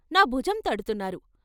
నా భుజం తడ్తున్నారు.